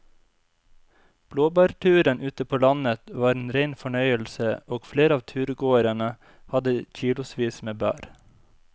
Blåbærturen ute på landet var en rein fornøyelse og flere av turgåerene hadde kilosvis med bær.